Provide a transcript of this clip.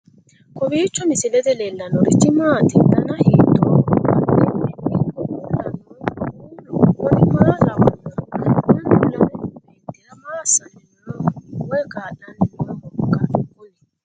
kowiicho misilete leellanorichi maati ? dana hiittooho ?abadhhenni ikko uulla noohu kuulu kuni maa lawannoho? mannu lame meentira maa aanni nooho woy kaa'lanni noohoikka kuni